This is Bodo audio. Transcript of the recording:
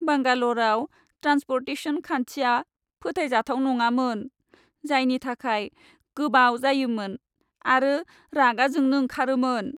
बांगालरआव ट्रान्सपर्टेसन खान्थिया फोथायजाथाव नङामोन, जायनि थाखाय गोबाव जायोमोन आरो रागा जोंनो ओंखारोमोन।